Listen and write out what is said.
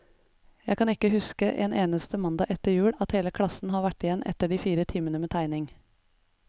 Jeg kan ikke huske en eneste mandag etter jul, at hele klassen har vært igjen etter de fire timene med tegning.